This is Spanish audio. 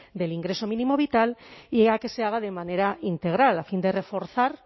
del ingreso mínimo vital y a que se haga de manera integral a fin de reforzar